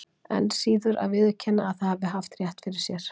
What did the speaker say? Enn síður að viðurkenna að það hafi haft rétt fyrir sér.